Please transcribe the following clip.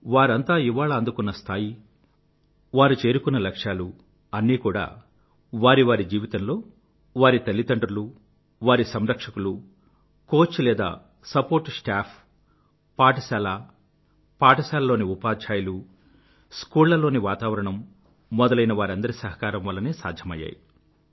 వారంతా ఇవాళ అందుకున్న స్థాయి వారు చేరుకున్న లక్ష్యాలు అన్నీ కూడా వారి వారి జీవితంలో వారి తల్లిదండ్రులు వారి సంరక్షకులు కోచ్ లేదా సపోర్ట్ స్టాఫ్ పాఠశాల పాఠశాలలోని ఉపాధ్యాయులు స్కూల్లోని వాతావరణం మొదలైనవారందరి సహకారం వల్లనే సాధ్యమయ్యాయి